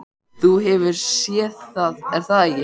Þú hefur séð það er það ekki?